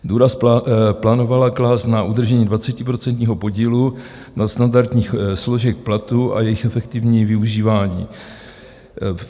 Důraz plánovala klást na udržení 20% podílu nadstandardních složek platu a jejich efektivní využívání.